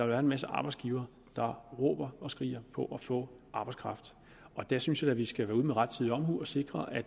være en masse arbejdsgivere der råber og skriger på at få arbejdskraft der synes jeg da vi skal være ude med rettidig omhu og sikre at